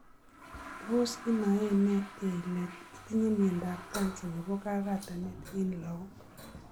Tos inae en ne ile itinye miondap cancer nepo kagatanet en logok.